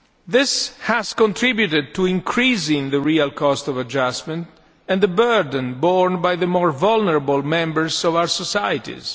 This has contributed to increasing the real cost of adjustment and the burden borne by the more vulnerable members of our societies.